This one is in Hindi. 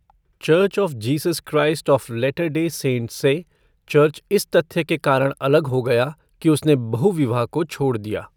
Church of Jesus Christ of Latter Day Saints से चर्च इस तथ्य के कारण अलग हो गया कि उसने बहुविवाह को छोड़ दिया।